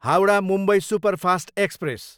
Howrah, Mumbai superfast express